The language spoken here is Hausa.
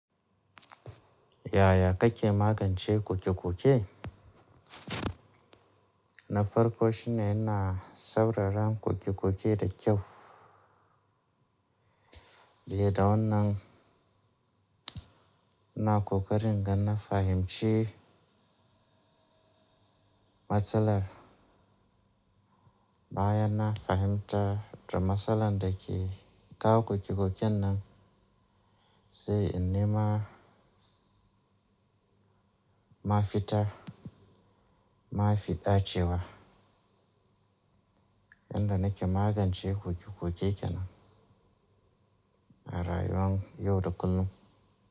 Yaya kake magance ƙoke-ƙoke? Na farko shine ina sauraron ƙoke-ƙoke da kyau, biye da wannan ina ƙoƙarin ingana fahimci matsalar baya na fahimta da matsalar da ke kawo ƙoke-ƙoke nan sai in nema ma fitar, ma fi dacewa yanda nake magance ƙoke-ƙoke kenan rayuwar yau da kullum.